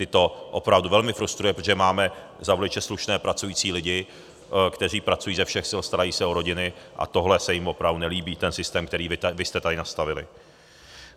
Ty to opravdu velmi frustruje, protože máme za voliče slušné pracující lidi, kteří pracují ze všech sil, starají se o rodiny, a tohle se jim opravdu nelíbí, ten systém, který vy jste tady nastavili.